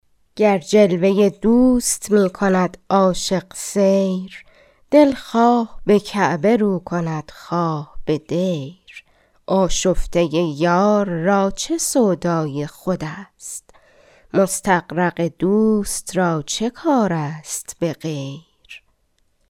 گر جلوه دوست می کند عاشق سیر دل خواه به کعبه رو کند خواه به دیر آشفته یار را چه سودای خود است مستغرق دوست را چه کار است به غیر